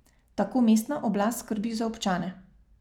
Tako mestna oblast skrbi za občane.